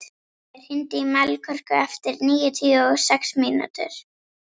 Glói, hringdu í Melkorku eftir níutíu og sex mínútur.